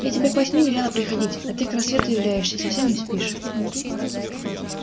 я тебе к восьми велела приходить а ты к рассвету являешься и совсем не спишь